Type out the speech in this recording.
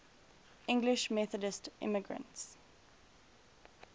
english methodist immigrants